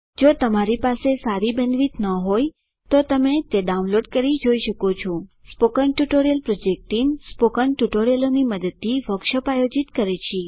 જો તમારી પાસે સારી બેન્ડવિડ્થ ન હોય તો તમે ડાઉનલોડ કરી તે જોઈ શકો છો spoken tutorial project team spoken ટ્યુટોરીયલોની મદદથી વર્કશોપ આયોજિત કરે છે